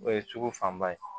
O ye sugu fanba ye